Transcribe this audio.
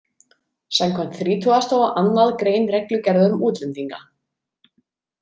Samkvæmt þrítugasta og annað grein reglugerðar um útlendinga.